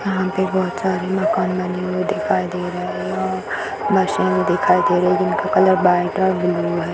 यहाँ पे बोहोत सारे मकान-मंदिरे दिखाई दे रही है और मशीन दिखाई दे रही है जिसका कलर वाइट और ब्लू है |